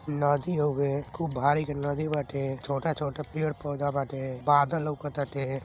नदी हो गए खूब भारी के नदी बाटे छोटा-छोटा पेड़ पौधा बाटे। बादलों लउकत ताटे।